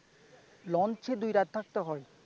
দুই রাত থাকতে হয়?